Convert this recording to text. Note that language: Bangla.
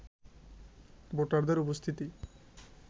ভোটারদের উপস্থিতি